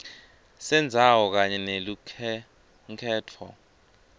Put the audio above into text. sendzawo kanye nelukhenkhetfo